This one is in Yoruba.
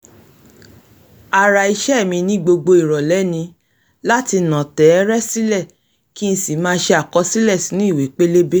ara ìṣe mi ní gbogbo ìrọ̀lẹ́ ni láti nà tẹ́ẹ́rẹ́ sílẹ̀ kí n sì máà ṣe àkọsílẹ̀ sínú ìwé pélébé